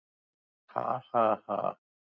Ha ha ha!